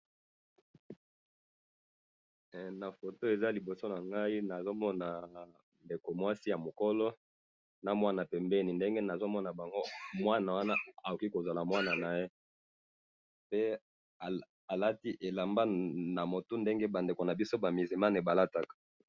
Na foto eza liboso nangayi nazomona ndeko mwasi yamukolo namwana pembeni, ndenge nazomona bango, mwana wana akoki kozala mwana naye, nde alati elamba namutu neti bandeko nabiso ba musulmane balataka